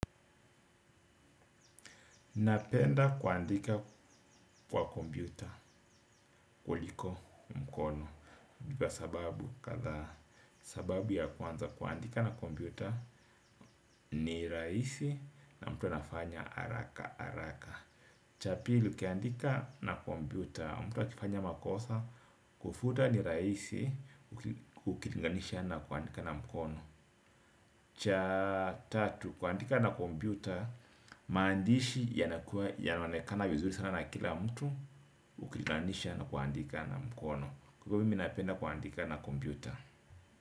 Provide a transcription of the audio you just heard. Napenda kuandika kwa kompyuta, kuliko mkono. Kwa sababu, kadhaa sababu ya kwanza kuandika na kompyuta ni raisi na mtu anafanya haraka, haraka. Cha pili ukiandika na kompyuta, mtu akifanya makosa, kufuta ni raisi, ukilinganisha na kuandika na mkono. Cha tatu, kuandika na kompyuta maandishi yanakua yanaonekana vizuri sana na kila mtu ukilinganisha na kuandika na mkono kwa hivyo mimi napenda kuandika na kompyuta.